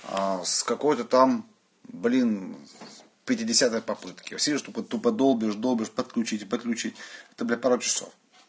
с какой-то там блин пятидесятой попытки всё долбишь долбишь подключить подключить это пару часов